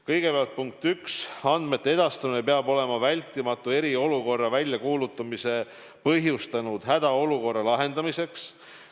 Kõigepealt, punkt 1: andmete edastamine on vajalik eriolukorra väljakuulutamise põhjustanud hädaolukorra lahendamiseks.